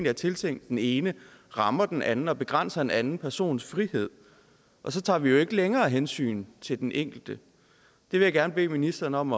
er tiltænkt den ene rammer den anden og begrænser en anden persons frihed og så tager vi jo ikke længere hensyn til den enkelte det vil jeg gerne bede ministeren om